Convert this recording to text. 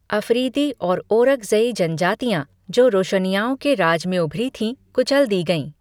अफरीदी और ओरकज़ई जनजातियाँ, जो रोशनिय्याओं के राज में उभरी थीं, कुचल दी गईं।